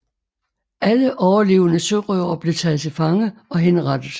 Alle overlevende sørøvere blev taget til fange og henrettet